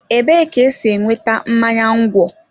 Ebee ka esi enweta mmanya ńgwọ?